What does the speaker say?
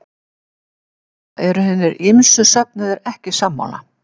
Um þetta eru hinir ýmsu söfnuðir ekki sammála.